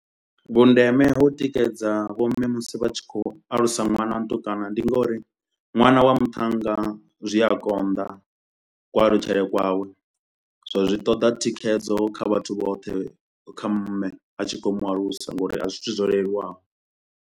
Vhundeme ha u tikedza vho mme musi vha tshi khou alusa ṅwana wa mutukana ndi ngauri ṅwana wa muthannga zwi a konḓa ku alutshele kwawe so zwi ṱoḓa thikhedzo kha vhathu vhoṱhe kha mme a tshi kho u mu alusa ngauri a si zwithu zwo leluwaho.